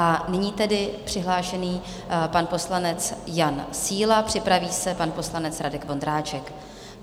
A nyní tedy přihlášený pan poslanec Jan Síla, připraví se pan poslanec Radek Vondráček.